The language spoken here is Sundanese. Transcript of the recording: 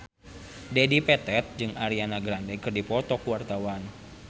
Dedi Petet jeung Ariana Grande keur dipoto ku wartawan